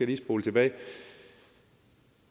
lige spole tilbage